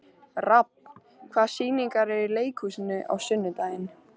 Rafn, hvaða sýningar eru í leikhúsinu á sunnudaginn?